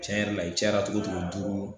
Tiɲɛ yɛrɛ la i cayara cogo cogo duuru